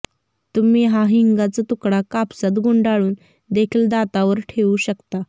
तुम्ही हा हिंगाचा तुकडा कापसात गुंडाळून देखील दातावर ठेवू शकता